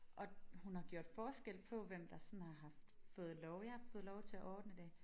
Og hun har gjort forskel på hvem der sådan har haft fået lov jeg har fået lov til at ordne det